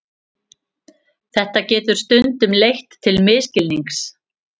Þetta getur stundum leitt til misskilnings.